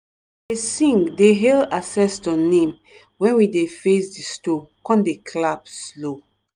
dey sing dey hail ancestor name when we dey face di stone con dey clap slow.